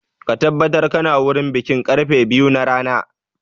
Ka tabbatar ka na wurin bikin karfe biyu na rana!